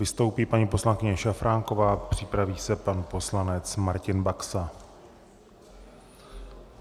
Vystoupí paní poslankyně Šafránková, připraví se pan poslanec Martin Baxa.